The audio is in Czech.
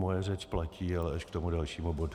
Moje řeč platí, ale až k tomu dalšímu bodu.